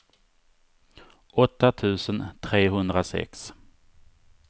åtta tusen trehundrasex